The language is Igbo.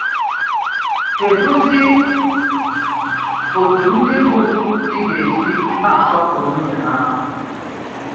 Kedu zi òtú ndị bụ dì gà-èsì na-àsọ̀pụrụ̀ nwùnyè há?